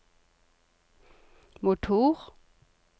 motor